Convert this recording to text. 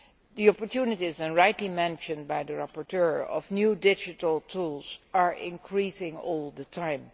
The opportunities as rightly mentioned by the rapporteur offered by new digital tools are increasing all the time.